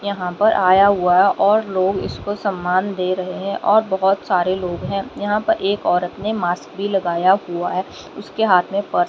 यहां पर आया हुआ और लोग इसको सम्मान दे रहे हैं और बहोत सारे लोग हैं यहां पर एक औरत ने मास्क भी लगाया हुआ है उसके हाथ में पर्स --